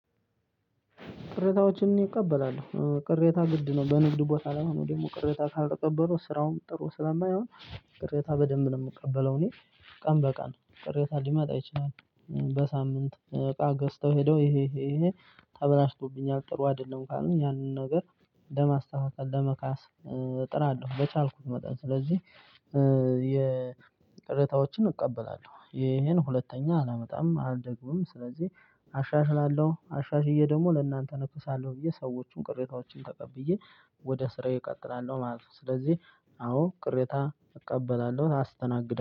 ቅሬታዎችን እቀበላለሁ ቅሬታ ግድ ነው በንግድ ቦታ ላይ ነው ደግሞ ቅሬታ ካልተቀበሩ ስራውን ጥሩ ስለማይሆን ቅሬታ በደንብ ነው የምቀበለው እኔ። ቀን በቀን ቅሬታ ሊመጣ አይችልም። በሳምንት እቃ ገዝተው ሄደው ይሄ ይሄ ተበላሽቶብኛል ጥሩ አይደለም ካልን ያንን ነገር ለማስተካከል ለመካስ እጥራለሁ በቻልኩት መጣሁ ስለዚህ። የቅሬታዎችን እቀበላለሁ ይሄን ሁለተኛ አላመጣም አልደግምም ስለዚህ አሻሽላለሁ አሻሽዬ ደግሞ ለእናንተ እክሳለሁ ብዬ ሰዎቹን ቅሬታዎችን ተቀብዬ ወደ ስራዬ እቀጥላለሁ ማለት ነው። ስለዚህ አዎ ቅሬታ እቀበላለሁ ታስተናግዳለህ